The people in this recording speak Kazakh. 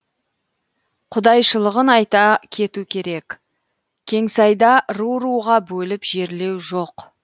құдайшылығын айта кету керек кеңсайда ру руға бөліп жерлеу жоқ